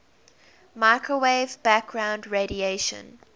microwave background radiation